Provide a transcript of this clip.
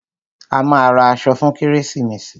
A máa ra aṣọ fún kérésìmesì.